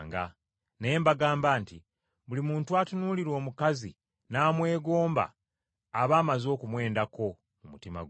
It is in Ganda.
Naye mbagamba nti Buli muntu atunuulira omukazi n’amwegomba aba amaze okumwendako mu mutima gwe.